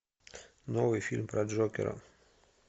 новый фильм про джокера